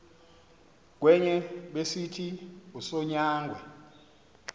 kwenye besithi usonyangwe